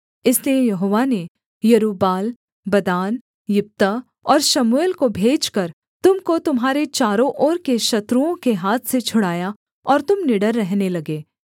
इसलिए यहोवा ने यरूब्बाल बदान यिप्तह और शमूएल को भेजकर तुम को तुम्हारे चारों ओर के शत्रुओं के हाथ से छुड़ाया और तुम निडर रहने लगे